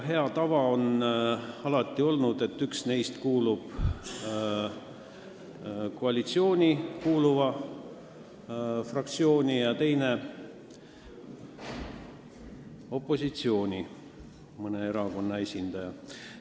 Hea tava on alati olnud, et üks neist kuulub koalitsioonifraktsiooni ja teine on mõne opositsioonierakonna esindaja.